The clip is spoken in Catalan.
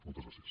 moltes gràcies